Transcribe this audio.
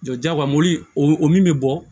jagoya mɔbili o min bɛ bɔ